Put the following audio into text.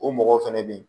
O mɔgɔw fɛnɛ bɛ ye